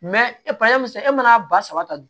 e mana ba saba ta dun